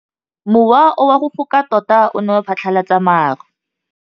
Mowa o wa go foka tota o ne wa phatlalatsa maru.